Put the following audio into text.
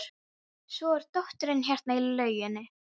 Svo er dóttirin hérna í lauginni.